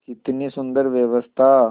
कितनी सुंदर व्यवस्था